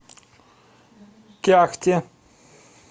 кяхте